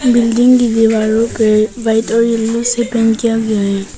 Building की दीवारों पर वाइट और येलो से पेंट किया गया है।